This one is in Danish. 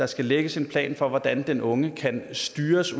skal lægges en plan for hvordan den unge kan styres